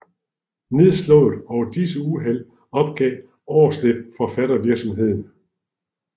Nedslået over disse uheld opgav Aarsleb forfattervirksomheden